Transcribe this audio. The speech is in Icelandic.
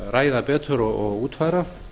ræða betur og útfæra